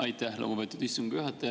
Aitäh, lugupeetud istungi juhataja!